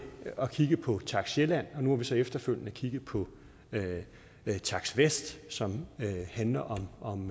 at kigge på takst sjælland og nu har vi så efterfølgende kigget på takst vest som handler om